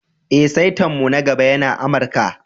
Eh, saita'n mu na gaba yana Amarka.